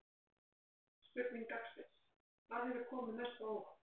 Spurning dagsins: Hvað hefur komið mest á óvart?